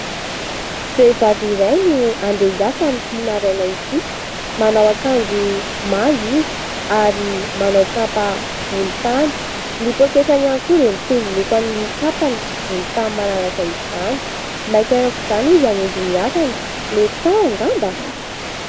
Vehivavy iray no handeha hiasa amin'itỳ maraina itỳ. Manao akanjo manga izy ary manao kapa volontany. Ny pôketra ihany koa dia mitovy loko amin'ny kapany, volontany manaraka izany. Maika aok'izany izy hamonjy ny asany, mety tara angamba ?